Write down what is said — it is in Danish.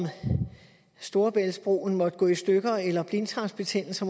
storebæltsbroen måtte gå i stykker eller blindtarmsbetændelser